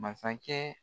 Masakɛ